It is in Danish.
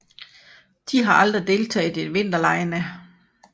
De har aldrig deltaget i vinterlege